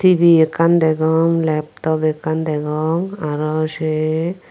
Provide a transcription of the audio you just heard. tibi ekkan degong laptop ekkan degong aro sei.